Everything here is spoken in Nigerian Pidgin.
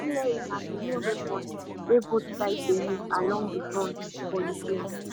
artillery na di main weapon wey both sides dey use along di front for ukraine